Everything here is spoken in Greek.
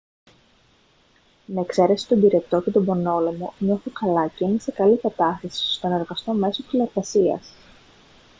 με εξαίρεση τον πυρετό και τον πονόλαιμο νιώθω καλά και είμαι σε καλή κατάσταση ώστε να εργαστώ μέσω τηλεργασίας